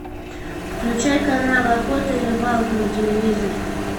включай канал охота и рыбалка на телевизоре